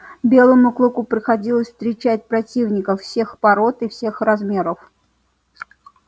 белому клыку приходилось встречать противников всех пород и всех размеров